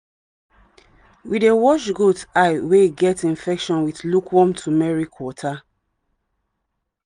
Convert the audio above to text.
we dey wash goat eye wey get infection with lukewarm turmeric water.